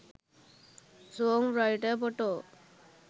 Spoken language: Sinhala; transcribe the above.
song writer photo